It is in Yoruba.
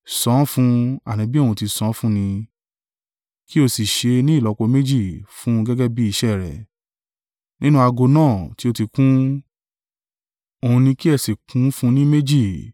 San an fún un, àní bí òun tí san án fún ní, kí ó sì ṣe e ni ìlọ́po méjì fún un gẹ́gẹ́ bí iṣẹ́ rẹ̀, nínú ago náà tí o ti kún, òun ni kí ẹ sì kún fún un ni méjì.